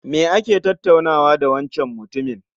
Me kake tattaunawa da wancan mutumin?